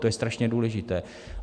To je strašně důležité.